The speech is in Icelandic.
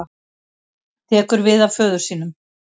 Tekur við af föður sínum